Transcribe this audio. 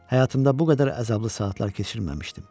Həyatımda bu qədər əzablı saatlar keçirməmişdim.